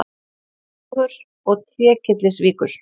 Gjögurs og Trékyllisvíkur.